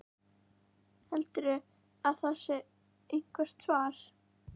Heldurðu að það sé eitthvert svar?